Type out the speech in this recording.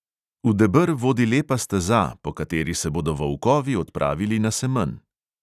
V deber vodi lepa steza, po kateri se bodo volkovi odpravili na semenj.